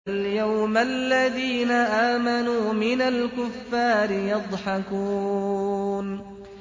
فَالْيَوْمَ الَّذِينَ آمَنُوا مِنَ الْكُفَّارِ يَضْحَكُونَ